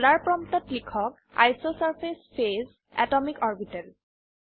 dollar প্ৰম্পটত লিখক isosurface phase atomic orbital